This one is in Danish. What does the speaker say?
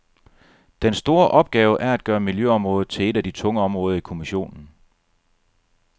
Den store opgave er at gøre miljøområdet til et af de tunge områder i kommissionen.